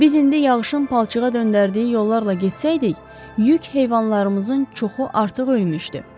Biz indi yağışın palçığa döndərdiyi yollarla getsəydik, yük heyvanlarımızın çoxu artıq ölmüşdü.